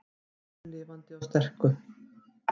Höldum orðinu lifandi og sterku